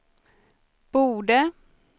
borde